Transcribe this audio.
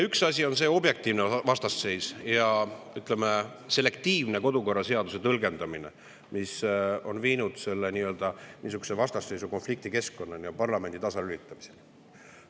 Üks asi on see objektiivne vastasseis ja, ütleme, selektiivne kodukorra seaduse tõlgendamine, mis on viinud nii-öelda vastasseisu-, konfliktikeskkonnani ja parlamendi tasalülitamiseni.